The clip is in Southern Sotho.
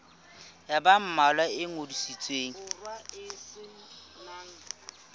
ya ba mmalwa e ngodisitsweng